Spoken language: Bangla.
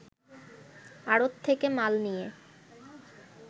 আড়ত থেকে মাল নিয়ে